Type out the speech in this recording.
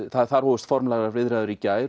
þar hófust formlegar viðræður í gær